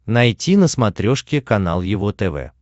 найти на смотрешке канал его тв